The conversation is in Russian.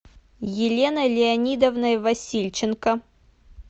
еленой леонидовной васильченко